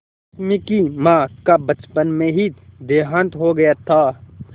रश्मि की माँ का बचपन में ही देहांत हो गया था